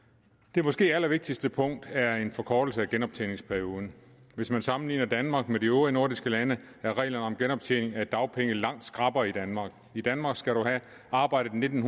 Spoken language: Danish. det måske allervigtigste punkt er en forkortelse af genoptjeningsperioden hvis man sammenligner danmark med de øvrige nordiske lande er reglerne om genoptjening af dagpenge langt skrappere i danmark i danmark skal du have arbejdet nitten